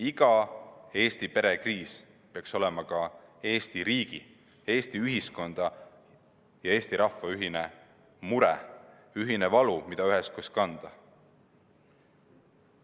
Iga Eesti pere kriis peaks olema ka Eesti riigi, Eesti ühiskonna ja Eesti rahva ühine mure, ühine valu, mida üheskoos kanda.